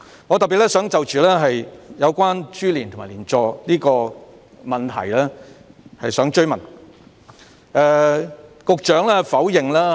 我特別想就着有關株連和連坐的問題提出補充質詢。